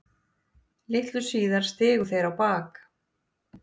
Litlu síðar stigu þeir á bak.